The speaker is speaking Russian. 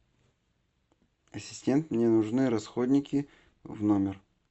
ассистент мне нужны расходники в номер